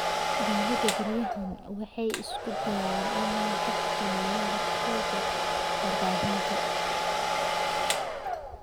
Dawladdu beryahan waxay isku dayaysaa inay xakamayso waxa laga sheego warbaahinta.